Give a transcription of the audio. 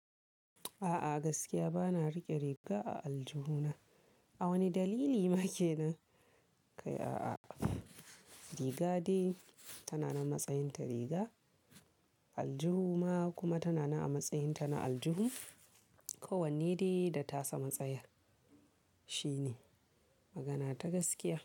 A'a gaskiya ba na riƙe riga a aljuhu na. A wani dalili ma kenan? Kai a'a, riga dai tana na matsayin ta riga, aljuhu ma kuma tana na a matsayinta na aljihu. Ko wanne dai da tasa matsayar, shine magana ta gaskiya.